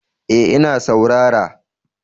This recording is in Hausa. Eh ina saurara